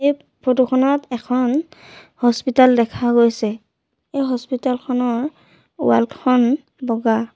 ফটোখনত এখন হস্পিতল দেখা গৈছে এই হস্পিতল খনৰ ৱাল খন বগা।